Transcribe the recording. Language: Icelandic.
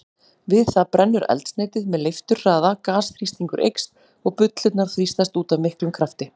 Við það brennur eldsneytið með leifturhraða, gasþrýstingur eykst og bullurnar þrýstast út af miklum krafti.